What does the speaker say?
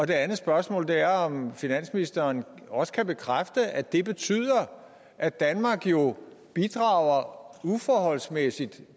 det andet spørgsmål er om finansministeren også kan bekræfte at det betyder at danmark jo bidrager uforholdsmæssigt